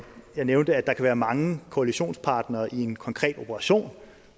jeg nævnte at der kan være mange koalitionspartnere i en konkret operation